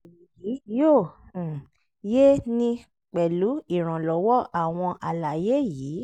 èyí yóò um yé 'ni pẹ̀lú ìrànlọ́wọ́ àwọn àlàyé yìí